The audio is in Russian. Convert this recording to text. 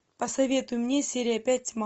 посоветуй мне серия пять тьма